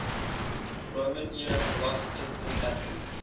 roman era philosophers in athens